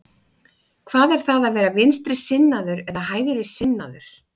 Hvað er það að vera vinstrisinnaður eða hægrisinnaður?